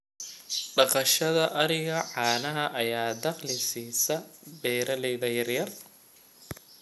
Dhaqashada ariga caanaha ayaa dakhli siisa beeralayda yaryar.